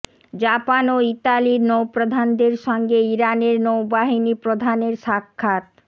Japan ও ইতালির নৌপ্রধানদের সঙ্গে ইরানের নৌবাহিনী প্রধানের সাক্ষাৎ